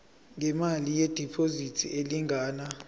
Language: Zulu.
ngemali yediphozithi elingana